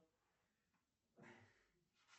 рубик засыпаем